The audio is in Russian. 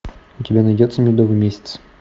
у тебя найдется медовый месяц